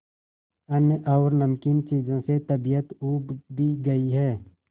अन्न और नमकीन चीजों से तबीयत ऊब भी गई है